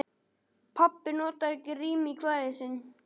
Pabbi notar ekki rím í kvæðin sín.